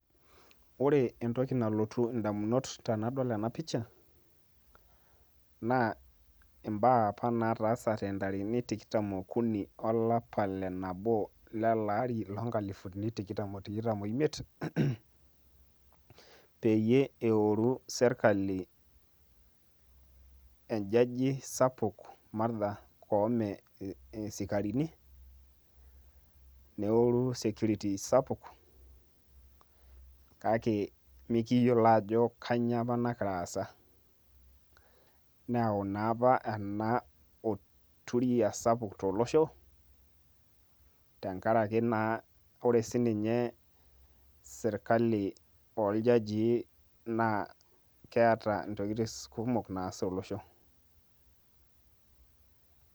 Ore entoki nalotu indamunot tenadol ena pisha, naa imbaa apa nataasate intarikini tikam okuni olapa lenabo lelari lonkalifu are otikitam oimiet, peyie eoru sirkali ejaji sapuk Martha Koome, isikarini, neoru security sapuk, kake mikiyiolo ajo kanyioo apa nagira aasa. Neeu naapa ena olturia sapuk tolosho, tenkaraki naa ore sinche sirkali orjajii na ketaa intokiting kumok naas tolosho.